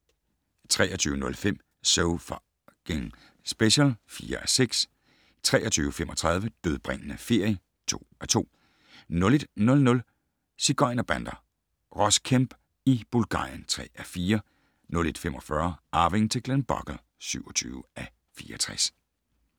23:05: So F***ing Special (4:6) 23:35: Dødbringende ferie (2:2) 01:00: Sigøjnerbander - Ross Kemp i Bulgarien (3:4) 01:45: Arvingen til Glenbogle (27:64)